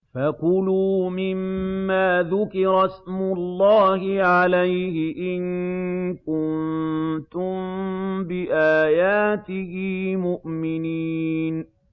فَكُلُوا مِمَّا ذُكِرَ اسْمُ اللَّهِ عَلَيْهِ إِن كُنتُم بِآيَاتِهِ مُؤْمِنِينَ